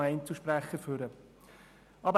Es wird noch ein Einzelsprecher nach vorne kommen.